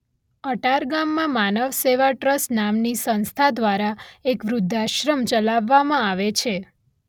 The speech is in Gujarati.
અટાર ગામમાં 'માનવ સેવા ટ્રસ્ટ' નામની સંસ્થા દ્વારા એક વૃદ્ધાશ્રમ ચલાવવામાં આવે છે.